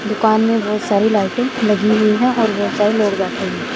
दुकान में बहोत सारी लाइटे लगी हुई है और बहोत सारे लोग बैठे हुए है।